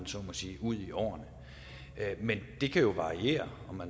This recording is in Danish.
så må sige ud i årene men det kan jo variere